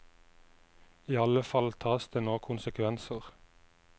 I alle fall tas det nå konsekvenser.